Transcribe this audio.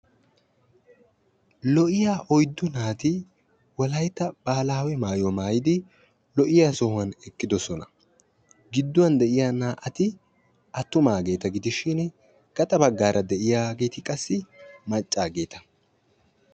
loohiya oyddu naati wolayta baahilaawe maayuwa maayidi eqqidi de'oosona. giduwan de'iya naa'ati atumaageeta gidishin gaxaageeti qassi macaageeta.